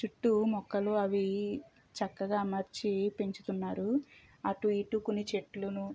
చుట్టూ మొక్కలు అవి చక్కగా అమర్చి పెంచుతున్నారు అటు ఇటు కొన్ని చెట్లును --